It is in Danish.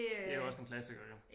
Det også en klassiker jo